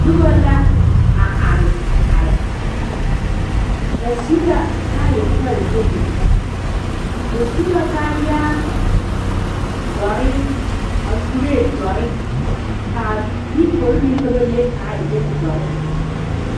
Noba la are are ba su la kaayɛ pare yenii ba su la kaayaare dɔre kuree dɔre kaa diikogiri meŋ ka ba le kaa e bonzeere